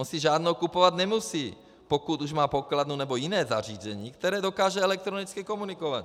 On si žádnou kupovat nemusí, pokud už má pokladnu nebo jiné zařízení, které dokáže elektronicky komunikovat.